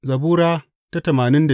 Zabura Sura